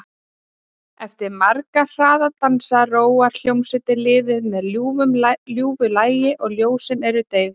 Eftir marga hraða dansa róar hljómsveitin liðið með ljúfu lagi og ljósin eru deyfð.